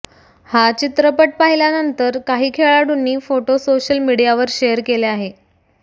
हा चित्रपट पाहिल्यानंतर काही खेळाडूंनी फोटो सोशल मिडीयावर शेअर केले आहे